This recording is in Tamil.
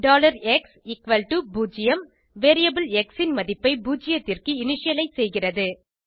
x0 வேரியபிள் எக்ஸ் ன் மதிப்பை பூஜ்ஜியத்திற்கு இனிஷியலைஸ் செய்கிறது